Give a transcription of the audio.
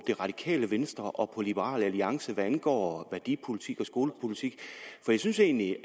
det radikale venstre og liberal alliance hvad angår værdipolitikken og skolepolitikken for jeg synes egentlig